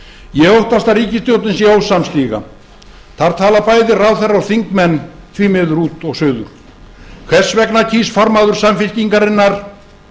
ég óttast að ríkisstjórnin sé ósamstiga þar tala bæði ráðherrar og þingmenn því miður út og suður hvers vegna kýs formaður samfylkingarinnar